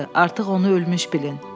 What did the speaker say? Artıq onu ölmüş bilin.